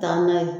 Taa n'a ye